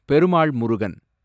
Perumal Murugan